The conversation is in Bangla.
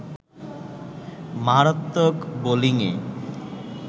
মারাত্মক বোলিংয়ে